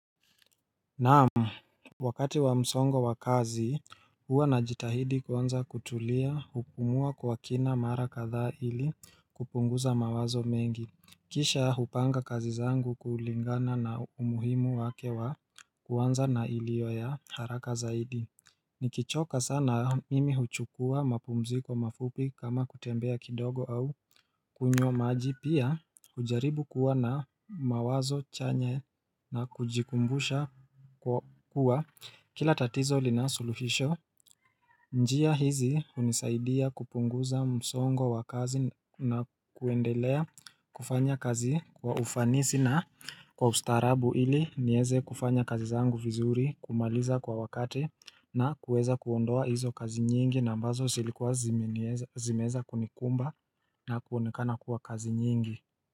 Naam Wakati wa msongo wa kazi huwa na jitahidi kwanza kutulia hupumua kwa kina mara kadhaa ili kupunguza mawazo mengi Kisha hupanga kazi zangu kuulingana na umuhimu wake wa kwanza na iliyo ya haraka zaidi Nikichoka sana mimi huchukua mapumziko mafupi kama kutembea kidogo au kunywa maji pia hujaribu kuwa na mawazo chanye na kujikumbusha kuwa kila tatizo lina suluhisho Nikichoka sana mimi huchukua mapumziko mafupi kama kutembea kidogo au kunywa maji pia hujaribu kuwa na mawazo chanye na kujikumbusha kuwa kila tatizo linasuluhisho zimeeza kunikumba na kuonekana kuwa kazi nyingi.